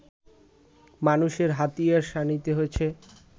মানুষের হাতিয়ার শানিত হয়েছে